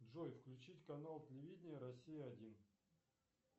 джой включить канал телевидения россия один